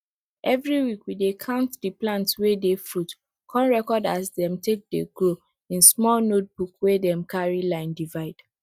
everi week we dey count di plants wey dey fruit con record as dem dey take grow in small notebook wey dem carry line divide